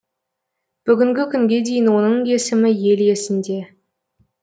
бүгінгі күнге дейін оның есімі ел есінде